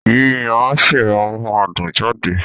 Yíyan á ṣì máa mú adùn jáde